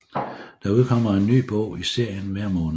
Der udkommer en ny bog i serien hver måned